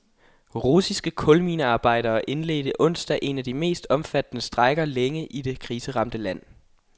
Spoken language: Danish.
Russiske kulminearbejdere indledte onsdag en af de mest omfattende strejker længe i det det kriseramte land.